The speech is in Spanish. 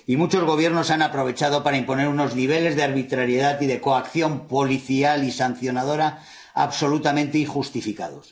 Y muchos Gobiernos han aprovechado para imponer unos niveles de arbitrariedad y de coacción policial y sancionadora absolutamente injustificados.